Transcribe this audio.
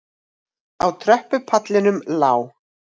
Á tröppupallinum lá